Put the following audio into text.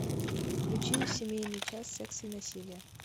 включи семейный час секс и насилие